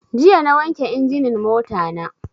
Jiya na wanke injinin mota na